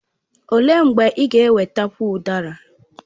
Olee mgbe ị ga ewetakwu udara?